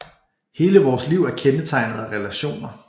Hele vores liv er kendetegnet af relationer